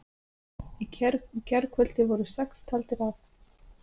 Í gærkvöldi voru sex taldir af